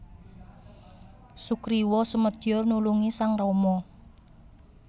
Sugriwa sumedya nulungi sang Rama